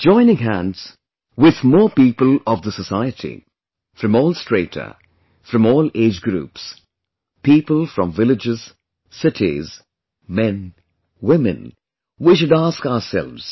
Joining hands with more people of the society, from all strata, from all age groups; people from villages, cities, men, women, we should ask ourselves